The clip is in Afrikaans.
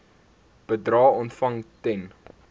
bedrae ontvang ten